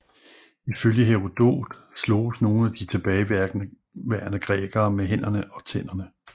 Ifølge Herodot sloges nogle af de tilbageværende grækere med hænderne og tænderne